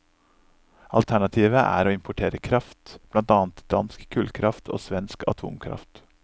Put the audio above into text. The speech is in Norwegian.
Alternativet er å importere kraft, blant annet dansk kullkraft og svensk atomkraft.